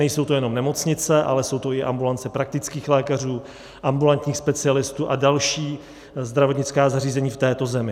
Nejsou to jenom nemocnice, ale jsou to i ambulance praktických lékařů, ambulantních specialistů a další zdravotnická zařízení v této zemi.